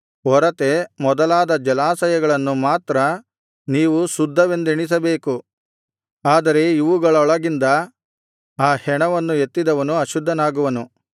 ಒರತೆ ಮೊದಲಾದ ಜಲಾಶಯಗಳನ್ನು ಮಾತ್ರ ನೀವು ಶುದ್ಧವೆಂದೆಣಿಸಬೇಕು ಆದರೆ ಇವುಗಳೊಳಗಿಂದ ಆ ಹೆಣವನ್ನು ಎತ್ತಿದವನು ಅಶುದ್ಧನಾಗುವನು